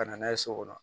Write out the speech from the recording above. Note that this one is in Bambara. Ka na n'a ye so kɔnɔ